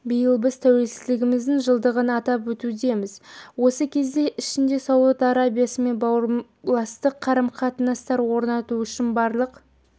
биыл біз тәуелсіздігіміздің жылдығын атап өтудеміз осы кезең ішінде сауд арабиясымен бауырластық қарым-қатынастар орнату үшін барлық